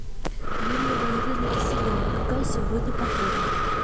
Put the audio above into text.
юлия валерьевна киселева какая сегодня погода